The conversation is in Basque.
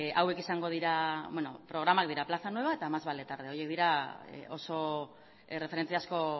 hauek izango dira beno programak dira plaza nueva eta más vale tarde horiek dira oso erreferentziazko